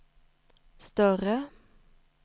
större